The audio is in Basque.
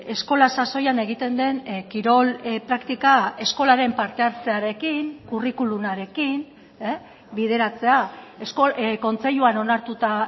eskola sasoian egiten den kirol praktika eskolaren parte hartzearekin curriculumarekin bideratzea kontseiluan onartuta